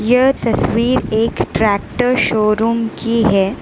यह तस्वीर एक ट्रैक्टर शोरूम की है।